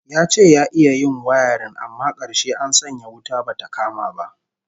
Ya ce ya iya yin wayarin amma karshe an sanya wuta bata kama ba